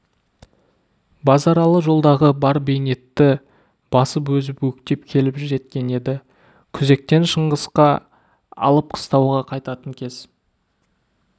базаралы жолдағы бар бейнетті басып озып өктеп келіп жеткен еді күзектен шыңғысқа алыс қыстауға қайтатын кез